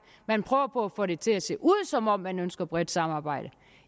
man prøver på at få det til at se ud som om man ønsker et bredt samarbejde